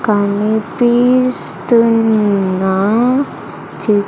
కనిపిస్తున్న చిత్ --